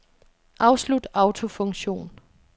Afslut autofunktion.